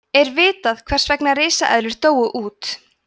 er vitað hvers vegna risaeðlur dóu út